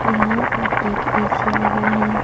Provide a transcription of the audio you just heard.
यहां पर एक ए_सी लगा है।